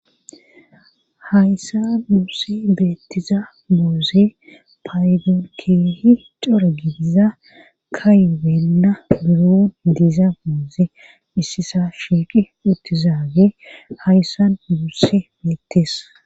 Hayssan muussi beettiza muuzi paykeehi cora gidiza kaywenna buron diiza muuzi issisa shiiqi uttizaage hayssan muusse beettees.